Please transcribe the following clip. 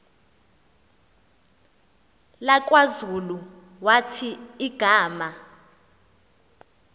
lakwazulu wathi igama